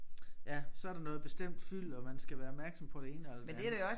Ja så der noget bestemt fyld og man skal være opmærksom på det ene eller det andet